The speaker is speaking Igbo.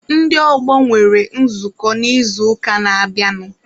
Ndị ọgbọ nwere nzukọ n'izuụka na-abịanụ.